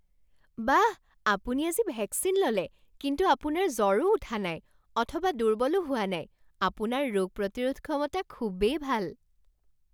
বাহ! আপুনি আজি ভেকচিন ল'লে কিন্তু আপোনাৰ জ্বৰো উঠা নাই অথবা দুৰ্বলো হোৱা নাই। আপোনাৰ ৰোগ প্ৰতিৰোধ ক্ষমতা খুবেই ভাল!